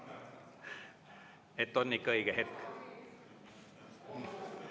Et on ikka õige hetk?